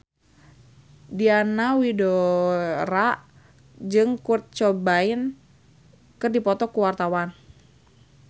Diana Widoera jeung Kurt Cobain keur dipoto ku wartawan